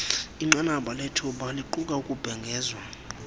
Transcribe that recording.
inqanabalethuba liquka ukubhengezwa